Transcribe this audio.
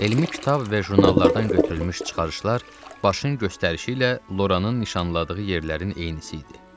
Elmi kitab və jurnallardan götürülmüş çıxarışlar Başın göstərişi ilə Loranın nişanladığı yerlərin eynisi idi.